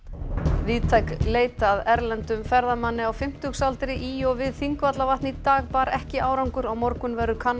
víðtæk leit að erlendum ferðamanni á fimmtugsaldri í og við Þingvallavatn í dag bar ekki árangur á morgun verður kannað